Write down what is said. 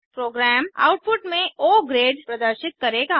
programme output में O grade प्रदर्शित करेगा